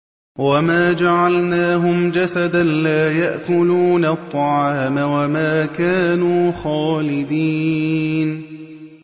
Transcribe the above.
وَمَا جَعَلْنَاهُمْ جَسَدًا لَّا يَأْكُلُونَ الطَّعَامَ وَمَا كَانُوا خَالِدِينَ